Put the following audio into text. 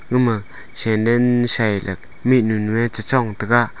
ama senden shai le mihnu nue chu Chong taiga.